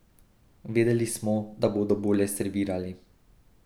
Vedeli smo, da bodo bolje servirali.